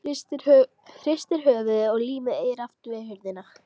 Hristir höfuðið og límir eyrað aftur við hurðina.